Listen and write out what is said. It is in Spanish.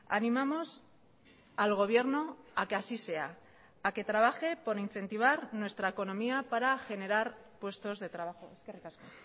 animamos al gobierno a que así sea a que trabaje por incentivar nuestra economía para generar puestos de trabajo eskerrik asko